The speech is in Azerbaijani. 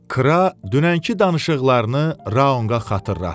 Kra dünənki danışıqlarını Raunqa xatırlatdı.